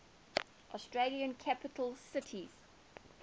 australian capital cities